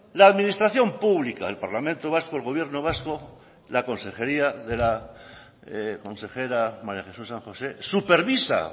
la administración pública el parlamento vasco el gobierno vasco la consejería de la consejera maría jesús san josé supervisa